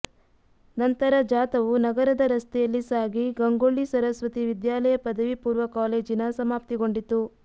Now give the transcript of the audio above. ನಂತರ ಜಾಥವು ನಗರದ ರಸ್ತೆಯಲ್ಲಿ ಸಾಗಿ ಗಂಗೊಳ್ಳಿ ಸರಸ್ವತಿ ವಿದ್ಯಾಲಯ ಪದವಿ ಪೂರ್ವ ಕಾಲೇಜಿನ ಸಮಾಪ್ತಿಗೊಂಡಿತು